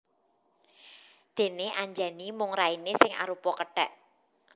Déné Anjani mung rainé sing arupa kethèk